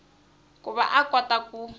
ku va a kota ku